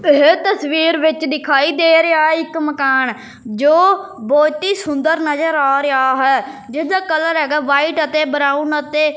ਇਹ ਤਸਵੀਰ ਵਿੱਚ ਦਿਖਾਈ ਦੇ ਰਿਹਾ ਇੱਕ ਮਕਾਨ ਜੋ ਬਹੁਤ ਹੀ ਸੁੰਦਰ ਨਜ਼ਰ ਆ ਰਿਹਾ ਹੈ ਜਿਸ ਦਾ ਕਲਰ ਹੈਗਾ ਵਾਈਟ ਅਤੇ ਬਰਾਊਨ ਅਤੇ --